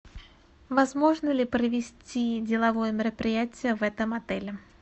возможно ли провести деловое мероприятие в этом отеле